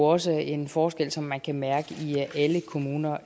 også en forskel som man kan mærke i alle kommuner